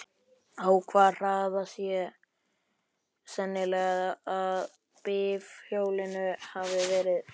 Á hvaða hraða sé sennilegast að bifhjólinu hafi verið ekið?